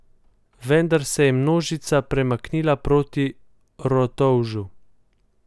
Vendar se je množica premaknila proti Rotovžu.